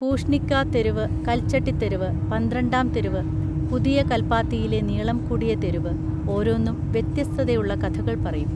പൂഷ്ണിക്കാ തെരുവ് കൽച്ചട്ടിത്തെരുവ് പന്ത്രണ്ടാം തെരുവ് പുതിയ കൽപ്പാത്തിയിലെ നീളം കുടിയ തെരുവ് ഓരോന്നും വ്യത്യസ്തതയുള്ള കഥകൾ പറയും